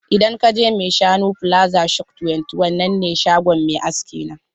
Idan ka je maishanu plaza shop 21 nan ne shagon mai aski na.